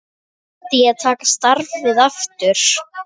Myndi ég taka starfið aftur?